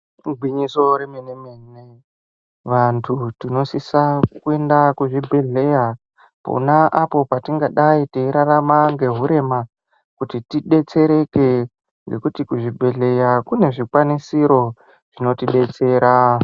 Igwinyiso remene mene vanhu tinosise kuende kuzvibhedhlera pona apo patingadayi teirarama ngeurema kuti tidetsereke ngekuti kuzvibhedhlera kune zvikwanisiro zvinotidetsera.